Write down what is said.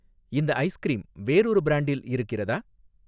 இந்த ஐஸ்கிரீம் வேறொரு பிரான்டில் இருக்கிறதா?